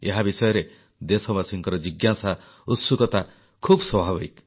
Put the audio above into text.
ଏହା ବିଷୟରେ ଦେଶବାସୀଙ୍କ ଜିଜ୍ଞାସା ଉତ୍ସୁକତା ଖୁବ୍ ସ୍ୱାଭାବିକ